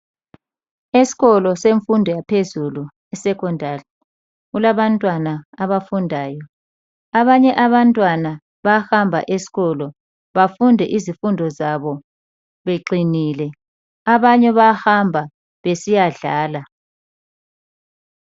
Esikolo semfundo yaphezulu iSecondary, kulabantwana abafundayo. Abanye abantwana bayahamba esikolo bafunde izifundo zabo beqinile. Abanye bayahamba besiyadlala.